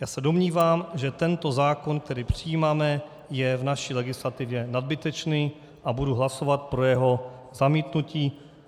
Já se domnívám, že tento zákon, který přijímáme, je v naší legislativě nadbytečný, a budu hlasovat pro jeho zamítnutí.